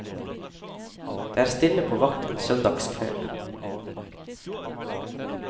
Det er stille på vakt en søndags kveld.